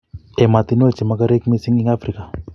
emotinwek chemokorek mising eng Afrika